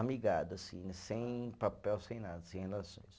Amigado, assim, sem papel, sem nada, sem relações.